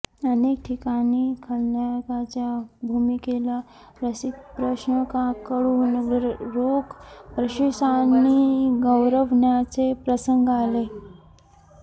अनेक ठिकाणी खलनायकाच्या भूमिकेला रसिक प्रेक्षकांकडून रोख बक्षिसांनी गौरवण्याचे प्रसंग आले